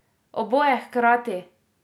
Oboje hkrati!